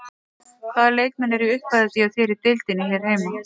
Hvaða leikmenn eru í uppáhaldi hjá þér í deildinni hér heima?